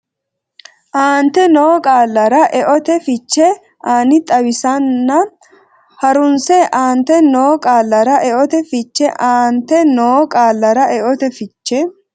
aante noo qaallara eote fiche ani xawisanna ha runse aante noo qaallara eote fiche ani aante noo qaallara eote fiche.